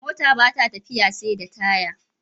Mota bata tafiya seda taya